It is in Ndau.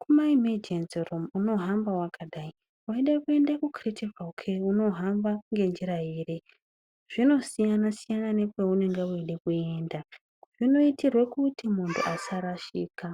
kweimejenzi unohamba wakadai, weida kuenda kwemakiritikari kheya unohamba ngenjira iri. Zvinosiyana siyana nekweunenge weida kuenda zvinoitirwa kuti muntu asarashika.